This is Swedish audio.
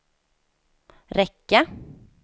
räcka